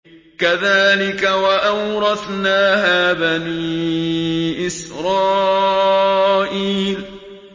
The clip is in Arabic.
كَذَٰلِكَ وَأَوْرَثْنَاهَا بَنِي إِسْرَائِيلَ